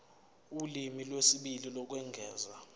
ulimi lwesibili lokwengeza